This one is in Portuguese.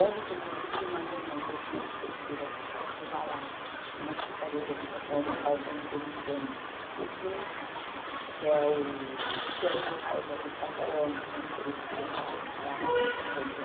Ontem eu estive numa reunião dentro da Prefeitura de Mauá, na Secretaria de Habitação, no qual está implementando o Plis, que é o Plano Local de Habitação de Interesse Social de Mauá, que está implantando lá.